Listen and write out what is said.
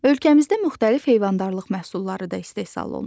Ölkəmizdə müxtəlif heyvandarlıq məhsulları da istehsal olunur.